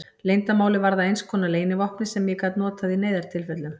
Leyndarmálið varð að einskonar leynivopni sem ég gat notað í neyðartilfellum.